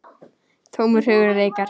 Tómur hugur reikar.